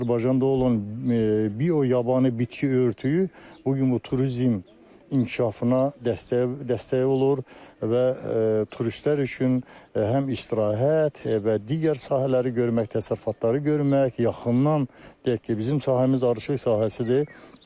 Azərbaycanda olan bio yabanı bitki örtüyü bu gün bu turizm inkişafına dəstəyə dəstək olur və turistlər üçün həm istirahət və digər sahələri görmək, təsərrüfatları görmək, yaxından deyək ki, bizim sahəmiz arıçılıq sahəsidir.